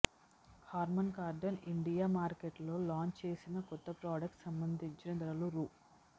Harman Kardon Indian మార్కెట్లో launch చేసిన కొత్త ప్రొడక్ట్స్కు సంబంధించిన ధరలు రూ